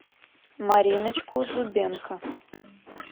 мариночку зубенко